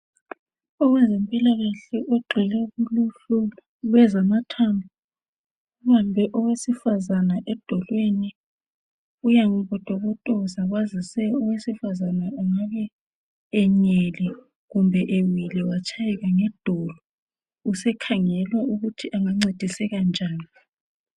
Owezempilakahle ogxile kuluhlu lwezamathambo ubambe owesifazana edolweni uyambotobotoza kwazise owesifazana engabe enyele kumbe ewile watshayeka ngedolo. Usekhangela ukuthi angancediseka njani.